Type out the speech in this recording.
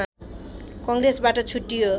कङ्ग्रेसबाट छुट्टियो